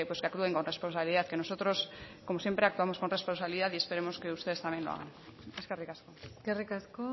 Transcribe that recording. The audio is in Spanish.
que actúen con responsabilidad que nosotros como siempre actuamos con responsabilidad y esperemos que ustedes también lo hagan eskerrik asko eskerrik asko